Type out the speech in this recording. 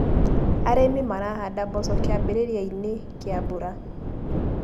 Arĩmi marahanda mboco kiambĩrĩrianĩ kia mbura.